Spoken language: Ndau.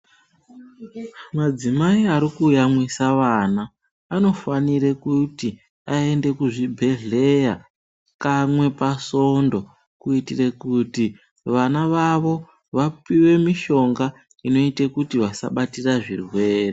Madzimai Ari kuyamwisa vana anofanira kuti aende kuzvibhedhlera kamwe pasvondo kuitira kuti vana vavo vapiwe mishonga inoita kuti vasabatira zvirwere.